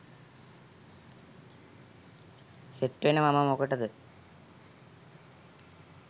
සෙට්වෙන මම මොකටද